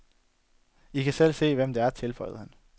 I kan selv se, hvem det er, tilføjede han.